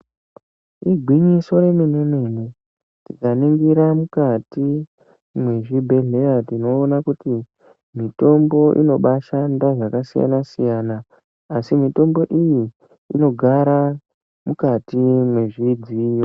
Igwinyiso remene mene. Tikaningira mukati mwezvibhehlera tinoona kuti mitombo inobaashanda zvakasiyana siyana asi mitombo iyi inogara mukati mwezvidziyo.